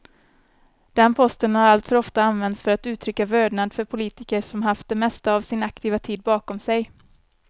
Den posten har alltför ofta använts för att uttrycka vördnad för politiker som haft det mesta av sin aktiva tid bakom sig.